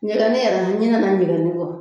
Ɲgɛlɛni, n ɲinɛna ŋɛlɛnin kɔ.